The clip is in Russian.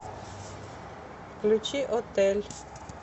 включи отель